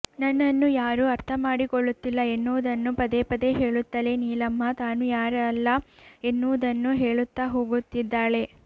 ನನ್ನನ್ನು ಯಾರೂ ಅರ್ಥ ಮಾಡಿಕೊಳ್ಳುತ್ತಿಲ್ಲ ಎನ್ನುವುದನ್ನು ಪದೇ ಪದೇ ಹೇಳುತ್ತಲೇ ನೀಲಮ್ಮ ತಾನು ಯಾರಲ್ಲ ಎನ್ನುವುದನ್ನೂ ಹೇಳುತ್ತಾ ಹೋಗುತ್ತಿದ್ದಾಳೆ